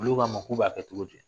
Olu k'a ma k'u b'a kɛ cogo di